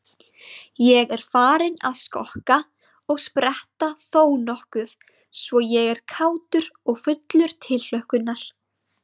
Ég er farinn að skokka og spretta þónokkuð svo ég er kátur og fullur tilhlökkunar.